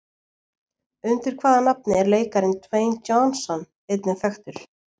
Undir hvaða nafni er leikarinn Dwayne Johnson einnig þekktur?